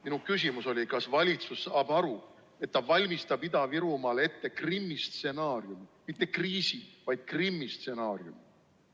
Minu küsimus oli, kas valitsus saab aru, et ta valmistab Ida-Virumaal ette Krimmi stsenaariumi – mitte kriisi-, vaid Krimmi stsenaariumi.